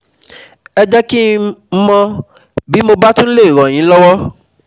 Ẹ jẹ́ kí n mọ bí mo bá lè túbọ̀ ràn yín lọwọ́